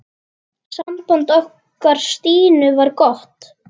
Samband okkar Stínu var gott.